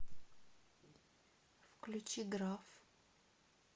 включи граф